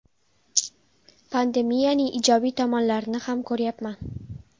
Pandemiyaning ijobiy tomonlarini ham ko‘ryapman.